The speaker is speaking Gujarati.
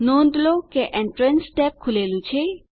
નોંધ લો કે એન્ટ્રાન્સ ટેબ ખૂલેલું છે